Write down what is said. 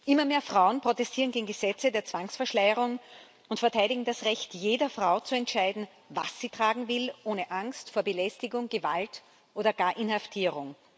Immer mehr Frauen protestieren gegen Gesetze der Zwangsverschleierung und verteidigen das Recht jeder Frau zu entscheiden, was sie tragen will, ohne Angst vor Belästigung, Gewalt oder gar Inhaftierung.